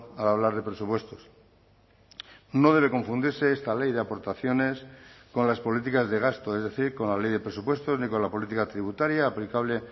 al hablar de presupuestos no debe confundirse esta ley de aportaciones con las políticas de gasto es decir con la ley de presupuestos ni con la política tributaria aplicable